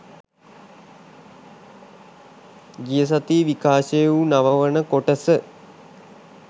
ගිය සතියේ විකාශය වු නව වන කොටස